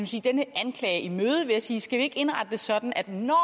sige denne anklage i møde ved at sige skal vi ikke indrette det sådan at når